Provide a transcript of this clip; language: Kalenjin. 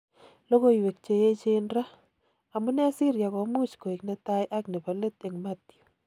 Lokoiwek cheyechen ra: amune Syria komuch koik netai ak nebo let eng Mathew.